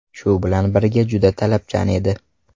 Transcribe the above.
Shu bilan birga juda talabchan edi.